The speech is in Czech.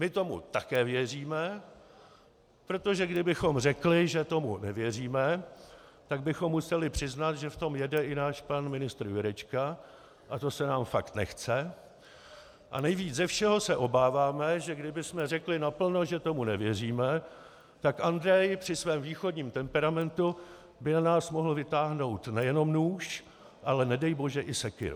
My tomu také věříme, protože kdybychom řekli, že tomu nevěříme, tak bychom museli přiznat, že v tom jede i náš pan ministr Jurečka, a to se nám fakt nechce, a nejvíc ze všeho se obáváme, že kdybychom řekli naplno, že tomu nevěříme, tak Andrej při svém východním temperamentu by na nás mohl vytáhnout nejenom nůž, ale nedej bože i Sekyru.